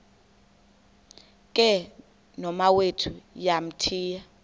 ke nomawethu wamthiya